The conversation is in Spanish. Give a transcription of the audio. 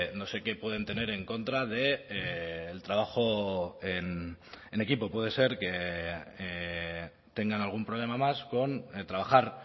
no sé qué pueden tener en contra del trabajo en equipo puede ser que tengan algún problema más con trabajar